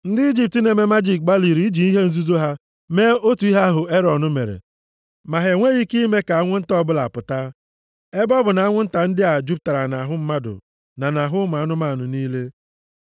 Ndị Ijipt na-eme majiki gbalịrị iji ihe nzuzo ha mee otu ihe ahụ Erọn mere, ma ha enweghị ike ime ka anwụ nta ọbụla pụta. Ebe ọ bụ na anwụ nta ndị a jupụtara nʼahụ mmadụ na nʼahụ anụmanụ niile.